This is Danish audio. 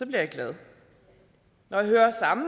jeg glad når jeg hører samme